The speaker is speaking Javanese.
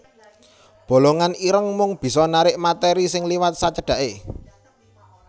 Bolongan ireng mung bisa narik materi sing liwat sacedhaké